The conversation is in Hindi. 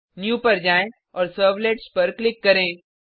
न्यू पर जाएँ और सर्वलेट्स पर क्लिक करें